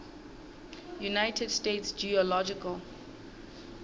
united states geological